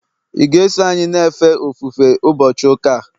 ị ga-eso anyị na-efe ofufe ụbọchị ụka a?